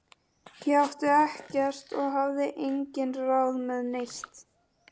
Ég átti ekkert og hafði engin ráð með neitt.